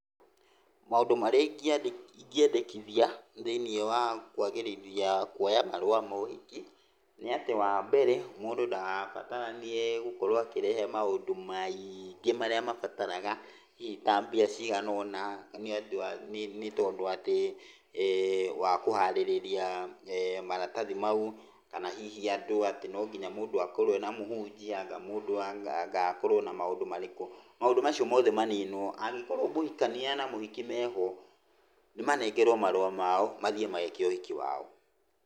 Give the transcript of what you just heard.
Maũndũ marĩa ingĩendekithia thĩinĩ wa kũagĩrithia kuoya marũa ma ũhiki, nĩ atĩ wa mbere, mũndũ ndagabataranie nĩgũkorwo akĩrehe maũndũ maingĩ marĩa mabaraga, hihi ta mbia ciganaona nĩ andũ nĩ tondũ atĩ wa kũharĩrĩria maratathi mau. Kana hihi andũ atĩ no nginya mũndũ akorwo ena mũhũnjia, anga mũndũ wa, anga akorwo na maũndũ marĩkũ. Maũndũ macio mothe maninwo. Angĩkorwo mũhikania na mũhiki meho, nĩ manengerwo marũa mao mathiĩ mageke ũhiki wao.